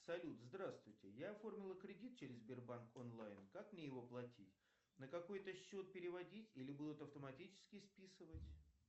салют здравствуйте я оформила кредит через сбербанк онлайн как мне его платить на какой то счет переводить или будут автоматически списывать